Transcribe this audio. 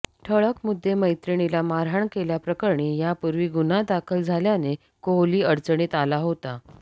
ठळक मुद्दे मैत्रिणीला मारहाण केल्याप्रकरणी यापूर्वी गुन्हा दाखल झाल्याने कोहली अडचणीत आला होता